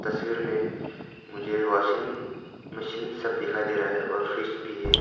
तस्वीर में मुझे वाशिंग मशीन सब दिखाई दे रहा है और फ्रिज भी है।